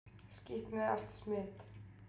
Skítt með allt smit!